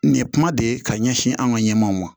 Nin ye kuma de ye ka ɲɛsin an ka ɲɛmɔw ma